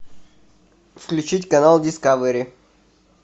включить канал дискавери